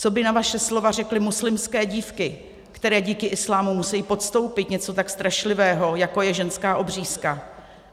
Co by na vaše slova řekly muslimské dívky, které díky islámu musejí podstoupit něco tak strašlivého, jako je ženská obřízka?